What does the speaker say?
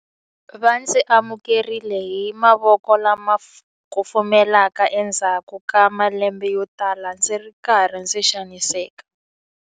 Va ndzi amukerile hi mavoko lama kufumelaka endzhaku ka malembe yotala ndzi ri karhi ndzi xaniseka.